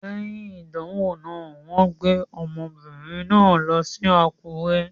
Léyìn ìdánwò náà, wọ́n gbé ọmọbìnrin náà lọ sí Àkúrẹ́.